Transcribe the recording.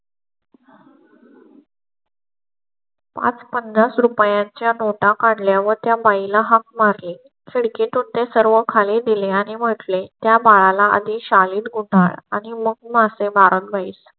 पन्नास पाच शा च्या नोटा काढल्या वर त्या बाईला हाक मारली. खडकी तून ते सर्व खाली दिले आणि म्हटले त्या बाळाला आधी शाळेत गुंडाळी आणि मग मासे मारत बैस.